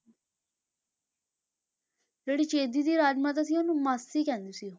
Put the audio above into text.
ਜਿਹੜੀ ਚੇਦੀ ਦੀ ਰਾਜ ਮਾਤਾ ਸੀ ਉਹਨੂੰ ਮਾਸੀ ਕਹਿੰਦੇ ਸੀ ਉਹ।